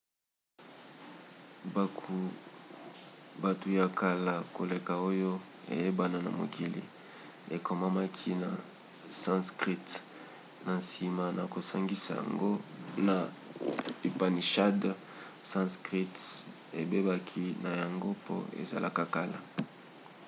buku ya kala koleka oyo eyebana na mokili ekomamaki na sanskrit. na nsima na kosangisa yango na upanishads sanskrit ebebaki na yango mpo ezalaka kala